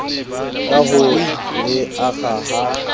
ka ho le akga ha